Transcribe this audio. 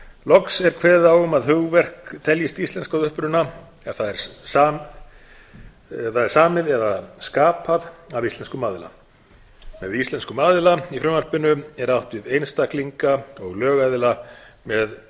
loks er kveðið á um að hugverk teljist íslensk að uppruna ef þau eru samin eða sköpuð af íslenskum aðila með íslenskum aðila í frumvarpinu er átt við einstaklinga og lögaðila með